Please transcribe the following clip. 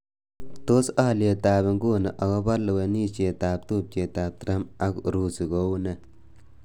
Tos aliyetab nguni akobo lewenishet ab tubjetab Trump ak Urusi kounee